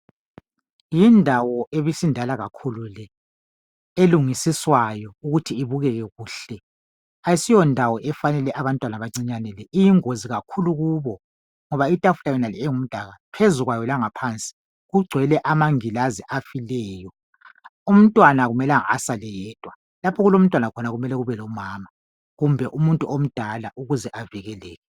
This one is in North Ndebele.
Yindawo ebisindala kakhulu le, elungisiswayo ukuthi ibukeke kuhle. Asiyondawo efanele abantwana abancinyane le, iyingozi kakhulu kubo ngoba itafula yonale engumdaka, phezu kwayo langaphansi kugcwele amangilazi afileyo. Umntwana akumelanga asale yedwa, lapho okulomntwana khona kumele kube lomama kumbe umuntu omdala ukuze avikele.